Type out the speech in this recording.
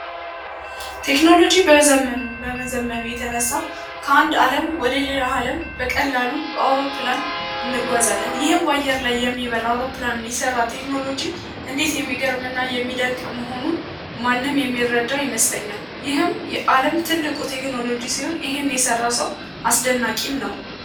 ቴክኖሎጂ ከመዘመኑ የተነሳ ከአንድ አለም ወደ ሌላ አለም በቀላሉ በአውሮፕላን እንጓዛለን። ይህም በአየር ላይ የሚበር አውሮፕላን የሰራ ቴክኖሎጂ እንዴት የሚገርም እና የሚደንቅ መሆኑን ማንም የሚረዳው ይመስለኛል ይህም የአለም ትልቁ ቴክኖሎጂ ሲሆን ይህንንም የሰራው ሰው አስደናቂም ነው።